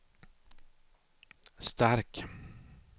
Stark